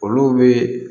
Olu bɛ